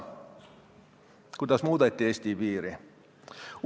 Kuidas muudeti Eesti piiri?